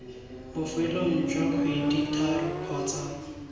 bofelong jwa kgwedi tharo kgotsa